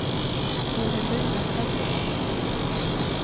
Vilhelmina Petersson